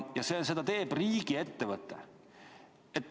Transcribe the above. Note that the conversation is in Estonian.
Ja seda teeb riigiettevõte.